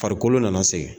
Farikolo nana segin